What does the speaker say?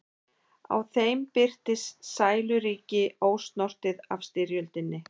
Á þeim birtist sæluríki, ósnortið af styrjöldinni.